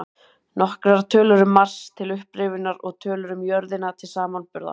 Nokkrar tölur um Mars, til upprifjunar, og tölur um jörðina til samanburðar: